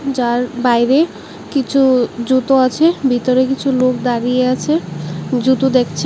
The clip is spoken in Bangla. যার বাইরে কিছু জুতো আছে ভিতরে কিছু লোক দাঁড়িয়ে আছে জুতো দেখছে।